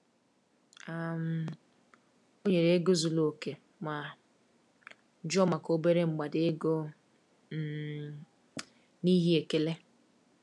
um O nyere ego zuru oke ma jụọ maka obere mgbada ego um n’ihi ekele.